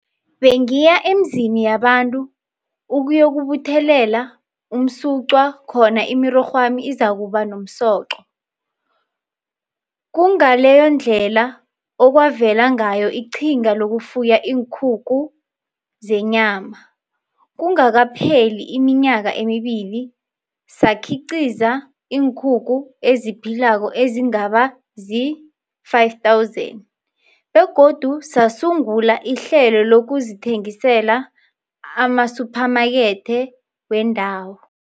Bengiya emizini yabantu ukuyokubuthelela umsuqwa khona imirorhwami izakuba nomsoco. Kungaleyondlela okwavela ngayo iqhinga lokufuya iinkukhu zenyama. Kungakapheli iminyaka emibili, sakhiqiza iinkukhu eziphilako ezingaba zii-5000 begodu sasungula ihlelo lokuzithengisela amasuphamakethe wendawo.